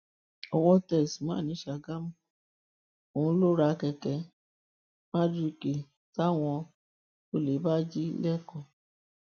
owó tẹ usman ní sàgámù òun ló ń ra kẹkẹ mardukà táwọn olè bá jí lẹkọọ